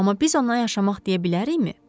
Amma biz ona yaşamaq deyə bilərikmi?